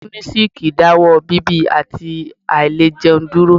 Munisik dáwọ́ ọ bíbì àti àìlẹ̀ jẹun dúró.